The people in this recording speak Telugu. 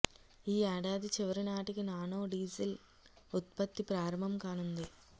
ఈ ఏడాది చివరి నాటికి నానో డీజిల్ ఉత్పత్తి ప్రారంభం కానుంది